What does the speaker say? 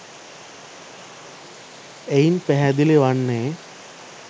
එයින් පැහැදිලි වන්නේ